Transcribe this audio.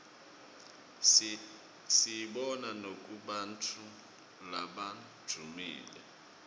siyibona nakubantfu labadvumile